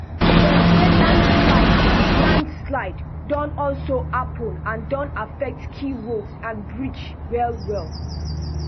dem say landslide landslide don also happun and don affect key road and bridge wellwell